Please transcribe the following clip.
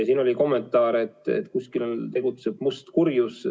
Siin oli kommentaar, et kusagil tegutseb must kurjus.